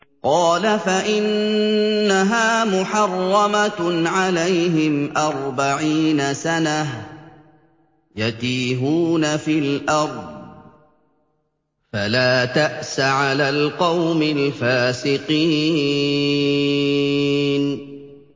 قَالَ فَإِنَّهَا مُحَرَّمَةٌ عَلَيْهِمْ ۛ أَرْبَعِينَ سَنَةً ۛ يَتِيهُونَ فِي الْأَرْضِ ۚ فَلَا تَأْسَ عَلَى الْقَوْمِ الْفَاسِقِينَ